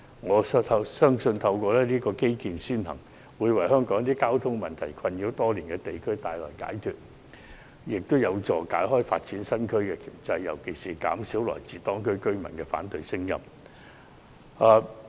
我深信透過"基建先行"，可為香港一些受交通問題困擾多年的地區帶來解脫，也有助擺脫發展新區的掣肘，尤其有助於減少來自當區居民的反對聲音。